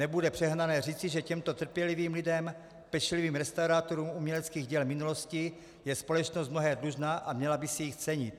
Nebude přehnané říci, že těmto trpělivým lidem, pečlivým restaurátorům uměleckých děl minulosti, je společnost mnohé dlužna a měla by si jich cenit.